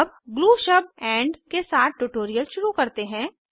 अब ग्लू शब्द एंड के साथ ट्यूटोरियल शुरू करते हैं